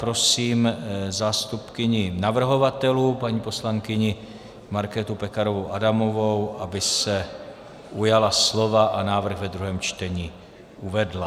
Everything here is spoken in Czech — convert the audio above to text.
Prosím zástupkyni navrhovatelů paní poslankyni Markétu Pekarovou Adamovou, aby se ujala slova a návrh ve druhém čtení uvedla.